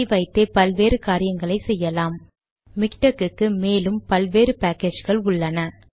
இதை வைத்தே பல்வேறு காரியங்களை செய்யலாம் மிக்டெக் க்கு மேலும் பல்வேறு பேக்கேஜ் கள் உள்ளன